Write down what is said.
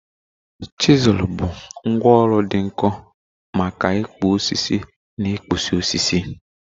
Chizul bụ ngwá ọrụ dị nkọ maka ịkpụ osisi na ịkpụzi osisi